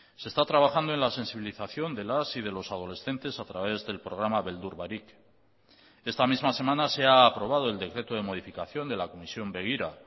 se está trabajando en la sensibilización de las y de los adolescentes a través del programa beldur barik esta misma semana se ha aprobado el decreto de modificación de la comisión begira